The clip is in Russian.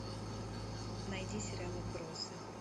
найди сериал отбросы